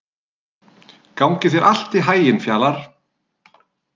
Gangi þér allt í haginn, Fjalarr.